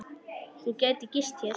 Þú gætir gist hér.